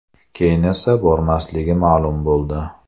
Keyin esa bormasligi ma’lum bo‘ldi.